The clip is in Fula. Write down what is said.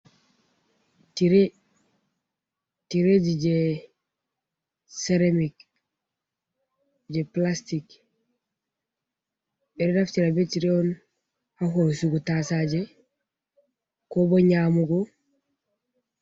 Tire, tireji je ceramic je plastic ɓe ɗo naftira ɓe tire on ha hosugu taasaje ko bo nyaamugo.